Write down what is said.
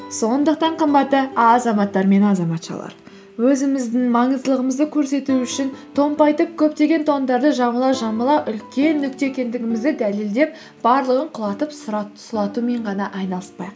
сондықтан қымбатты азаматтар мен азаматшалар өзіміздің маңыздылығымызды көрсету үшін томпайтып көптеген тоңдарды жамыла жамыла үлкен нүкте екендігімізді дәлелдеп барлығын құлатып сұлатумен ғана айналыспайық